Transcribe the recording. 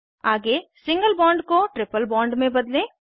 आगे single bond को triple bond में बदलें